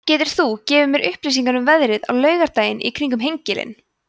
getur þú gefið mér upplýsingar um veðrið á laugardaginn í kring um hengilinn